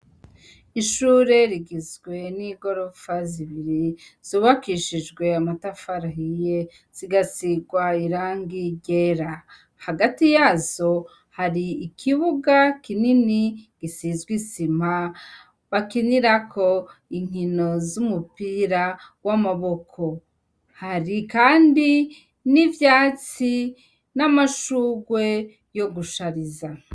ishure rigizwe n'igorofa zibiri zubakishijwe amatafarahiye zigasigwa irangigera. Hagati yazo hari ikibuga kinini gisizwe isima bakinirako inkino z'umupira w'amaboko hari kandi n'ivyatsi n'amashugwe yo gushariza.